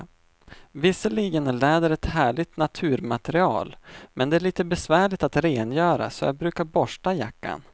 Visserligen är läder ett härligt naturmaterial, men det är lite besvärligt att rengöra, så jag brukar borsta jackan.